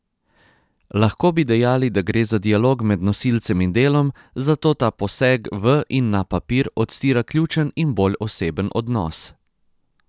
Lahko bi dejali, da gre za dialog med nosilcem in delom, zato ta poseg v in na papir odstira ključen in bolj oseben odnos.